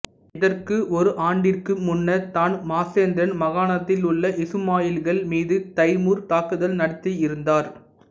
இதற்கு ஒரு ஆண்டிற்கு முன்னர் தான் மாசாந்தரன் மாகாணத்திலுள்ள இசுமாயிலிகள் மீது தைமூர் தாக்குதல் நடத்தி இருந்தார்